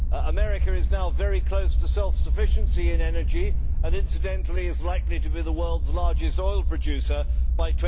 America is now very close to self sufficiency in energy and, incidentally, is likely to be the world's largest oil producer by